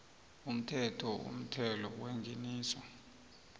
umthetho womthelo wengeniso